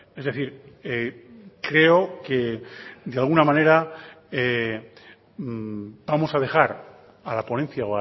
es decir creo que de alguna manera vamos a dejar a la ponencia